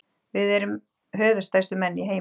Við erum höfuðstærstu menn í heimi.